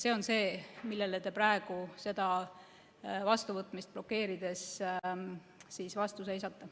See on see, millele te praegu selle eelnõu vastuvõtmist blokeerides vastu seisate.